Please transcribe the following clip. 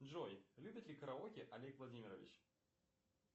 джой любит ли караоке олег владимирович